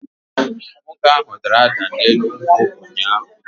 Nwoke ahu dara da n'elu nkwụ ụnyahụ